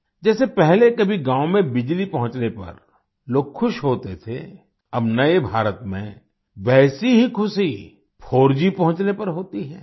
जैसे पहले कभी गाँव में बिजली पहुँचने पर लोग खुश होते थे अब नए भारत में वैसी ही खुशी 4G पहुँचने पर होती है